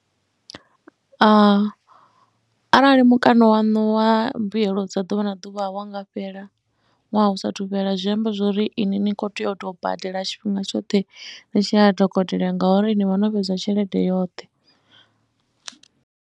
A, arali mukano waṋu wa mbuyelo dza ḓuvha na ḓuvha wa nga fhela ṅwaha u saathu fhela, zwi amba zwo ri ini ni khou tea u tou badela tshifhinga tshoṱhe ni tshi ya ha dokotela ngauri ni vha no fhedza tshelede yoṱhe.